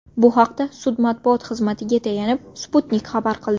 Bu haqda sud matbuot xizmatiga tayanib, Sputnik xabar qildi .